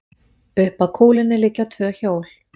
Upp að kúlunni liggja tvö hjól.